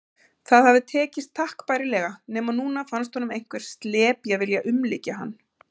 Það hafði tekist takk bærilega, nema núna fannst honum einhver slepja vilja umlykja hann.